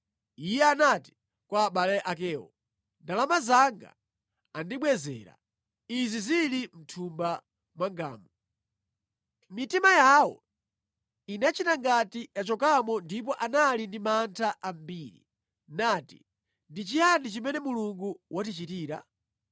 Iye anati kwa abale akewo, “Ndalama zanga andibwezera, izi zili mʼthumba mwangamu.” Mitima yawo inachita ngati yachokamo ndipo anali ndi mantha ambiri, nati, “Ndi chiyani chimene Mulungu watichitira?”